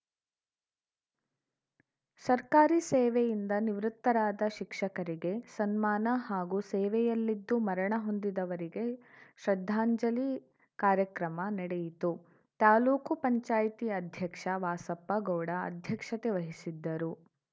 ಸರ್ಕಾರಿ ಸೇವೆಯಿಂದ ನಿವೃತ್ತರಾದ ಶಿಕ್ಷಕರಿಗೆ ಸನ್ಮಾನ ಹಾಗೂ ಸೇವೆಯಲ್ಲಿದ್ದು ಮರಣ ಹೊಂದಿದವರಿಗೆ ಶ್ರದ್ಧಾಂಜಲಿ ಕಾರ್ಯಕ್ರಮ ನಡೆಯಿತು ತಾಲೂಕು ಪಂಚಾಯಿತಿ ಅಧ್ಯಕ್ಷ ವಾಸಪ್ಪ ಗೌಡ ಅಧ್ಯಕ್ಷತೆ ವಹಿಸಿದ್ದರು